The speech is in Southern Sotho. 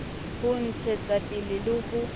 ho ntshetsa pele le ho